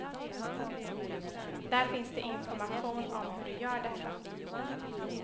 Där finns det information om hur du gör detta.